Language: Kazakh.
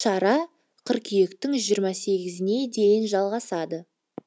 шара қыркүйектің жиырма сегізіне дейін жалғасады